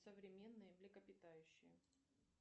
современные млекопитающие